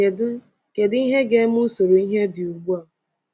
Kedu Kedu ihe ga-eme usoro ihe dị ugbu a?